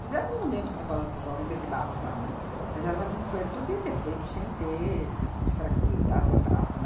Fizeram um monumento para o tal para o João Ribeiro de Barros lá, né, mas ela f foi podia ter feito sem ter des descaracterizado a praça,